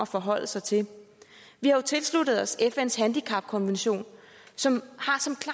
forholde sig til vi har jo tilsluttet os fns handicapkonvention som